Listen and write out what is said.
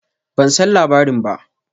Ban san labarin ba.